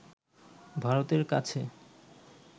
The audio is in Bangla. ভারতের কাছে